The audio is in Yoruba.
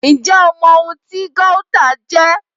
Ǹjẹ́ o mọ ohun tí Gauta jẹ́?...